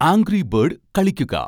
angry bird കളിക്കുക